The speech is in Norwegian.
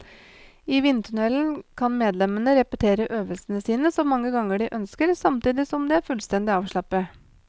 I vindtunnelen kan medlemmene repetere øvelsene sine så mange ganger de ønsker, samtidig som de er fullstendig avslappet.